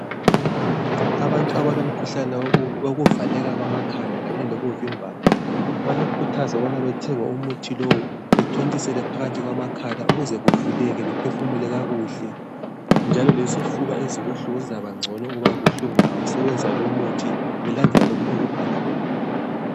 Abantu abalomkhuhlane wokuvaleka kwamakhala kanye lokuvimbana bayakhuthazwa ukubana bathenge umuthi lowu bathontisele phakathi kwamakhala, ukuze kuvuleke baphefumule kakuhle njalo lesifuba ezibuhlungu zizabangcono ukuba buhlungu bengawusebenzisa lumuthi belandela lokhu okubhaliweyo.